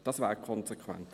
Das wäre konsequent.